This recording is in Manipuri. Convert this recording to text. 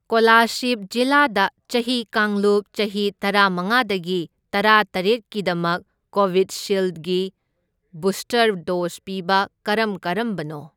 ꯀꯣꯂꯥꯁꯤꯞ ꯖꯤꯂꯥꯗ ꯆꯍꯤ ꯀꯥꯡꯂꯨꯞ ꯆꯍꯤ ꯇꯔꯥꯃꯉꯥꯗꯒꯤ ꯇꯔꯥꯇꯔꯦꯠꯀꯤꯗꯃꯛ ꯀꯣꯕꯤꯠꯁꯤꯜꯗꯒꯤ ꯕꯨꯁꯇꯔ ꯗꯣꯁ ꯄꯤꯕ ꯀꯔꯝ ꯀꯔꯝꯕꯅꯣ?